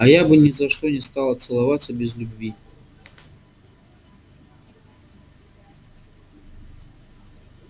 а я бы ни за что не стала целоваться без любви